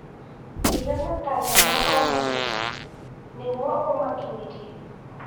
Iga matanya ma o mũthenya nĩguo ũmakinyĩre.